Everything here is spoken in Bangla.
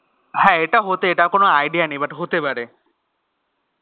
হ্যাঁ এটা হত but এটার কোন idea নেই but হতে পারে.